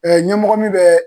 Ɛɛ ɲɛmɔgɔ min bɛ